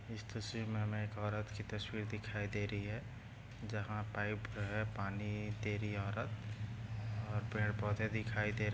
इस तस्वीर में हमे एक औरत की तस्वीर दिखाई दे रही है जहा पाइप है पानी दे रही है औरत और पेड़ पौधे दिखाई दे --